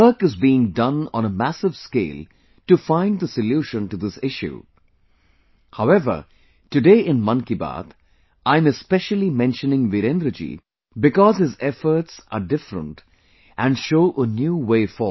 Work is being done on a massive scale to find the solution to this issue, however, today in Mann Ki Baat, I am especially mentioning Virendra ji because his efforts are different and show a new way forward